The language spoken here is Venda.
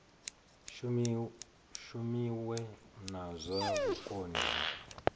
shumiwe na zwa vhukoni ha